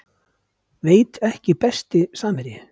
Veit ekki Besti samherji?